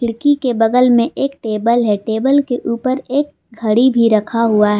खिड़की के बगल में एक टेबल है टेबल के ऊपर एक घड़ी भी रखा हुआ है।